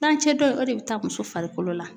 Tilancɛ dɔ in o de bɛ taa muso farikolo la